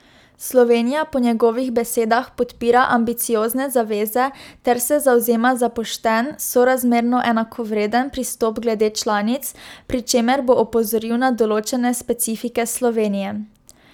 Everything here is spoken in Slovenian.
Slovenija po njegovih besedah podpira ambiciozne zaveze ter se zavzema za pošten, sorazmerno enakovreden pristop glede članic, pri čemer bo opozoril na določene specifike Slovenije.